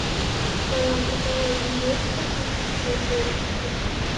в твоем каталоге есть космические уборщики